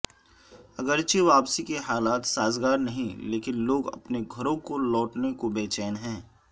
اگرچہ واپسی کے حالات سازگار نہیں لیکن لوگ اپنے گھروں کو لوٹنے کو بےچین ہیں